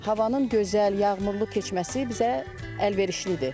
Havanın gözəl, yağmurlu keçməsi bizə əlverişlidir.